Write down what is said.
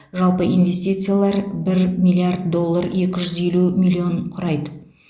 жалпы инвестициялар бір миллиард доллар екі жүз елу миллион құрайды